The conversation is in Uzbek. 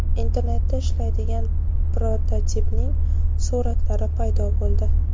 Internetda ishlaydigan prototipning suratlari paydo bo‘ldi.